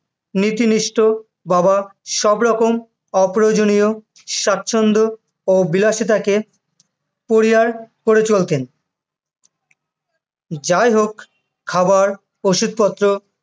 নীতিনিষ্ঠ বাবা সবরকম অপ্রয়োজন স্বাচ্ছন্দ ও বিলাসিতাকে পরিহার করে চলতেন, যাই হোক, খাবার, ওষুধপত্র বা